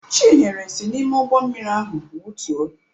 Chinyere si n'ụgbọ mmiri ahụ wutuo.